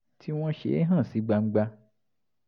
tí wọ́n ṣe é hàn sí gbangba